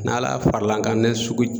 N'Ala faral'an kan ni sugu